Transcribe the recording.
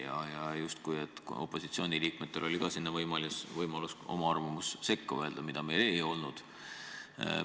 Ja oli kuulda, justkui olnuks ka opositsiooni liikmetel võimalus oma arvamus sekka öelda, kuid seda meil ei olnud.